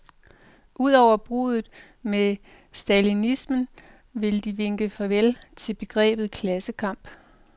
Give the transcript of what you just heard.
Ud over bruddet med stalinismen vil de vinke farvel til begrebet klassekamp.